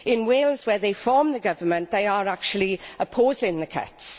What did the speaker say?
In Wales, where they form the government, they are actually opposing the cuts.